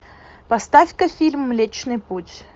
поставь ка фильм млечный путь